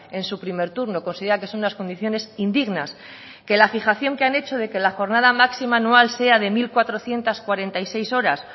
en su primer turno considera que son unas condiciones indignas que la fijación que han hecho de que la jornada máxima anual sea de mil cuatrocientos cuarenta y seis horas